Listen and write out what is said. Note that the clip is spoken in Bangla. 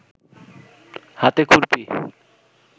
হাতে খুরপি